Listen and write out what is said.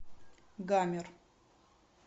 гамер